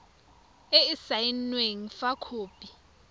e e saenweng fa khopi